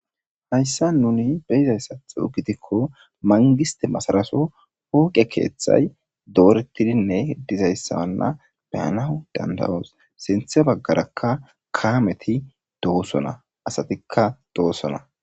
Hayssan nuni be7izayssatho gidikko manggistte masara Soo fooqe keethay dooretidine dizayssawanna dandda7oos. Sintha baggarakka kaameti do7oosona. Asatikka doosona.